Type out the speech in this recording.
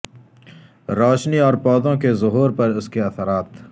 روشنی اور پودوں کے ظہور پر اس کے اثرات